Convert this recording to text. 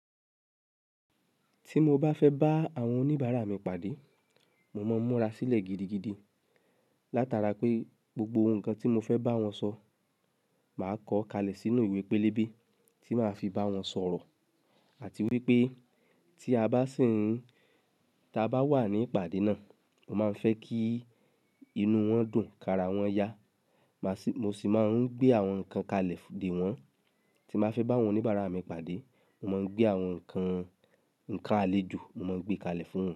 Tí mo bá fẹ́ bá àwọn oníbàárà mi pàdé, mo máa ń múra sílẹ̀ gidigidi látara pé gbogbo nǹkan tí mo fẹ́ bá wọn sọ, màá kọ́ kalẹ̀ sínú ìwé pélébé tí màá fi bá wọn sọ̀rọ̀. Àti wípé tí a bá sì ń ta bá wà ní ìpàdé náà, mo máa ń fẹ́ kí inú wọn dùn, kara wọn yá. Mo sì máa ń gbé àwọn nǹkan kalẹ̀ dè wọ́n. Tí n bàá fẹ́ bá àwọn oníbàárà mi pàdé, mo máa ń gbé àwọn nǹkan, nǹkan àlejò mo máa ń gbé kalẹ̀ fún wọn.